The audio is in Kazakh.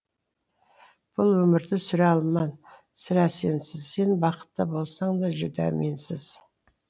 бұл өмірді сүре алман сірә сенсіз сен бақытты болсаңда жүдә менсіз